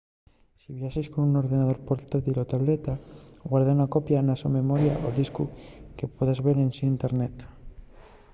si viaxes con un ordenador portátil o tableta guarda una copia na so memoria o discu que puedas ver ensin internet